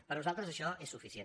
per nosaltres això és suficient